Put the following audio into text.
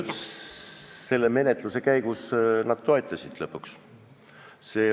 Selle menetluse käigus nad toetasid lõpuks.